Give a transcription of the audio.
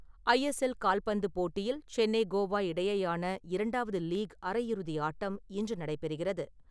ஐ S L கால்பந்து போட்டியில் சென்னை - கோவா இடையேயான இரண்டாவது லீக் அரையிறுதி ஆட்டம் இன்று நடைபெறுகிறது.